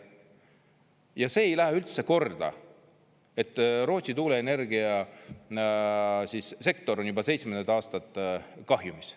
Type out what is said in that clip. Ja see ei lähe üldse korda, et Rootsi tuuleenergiasektor on juba seitsmendat aastat kahjumis.